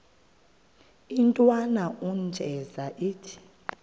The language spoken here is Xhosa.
intwana unjeza ithi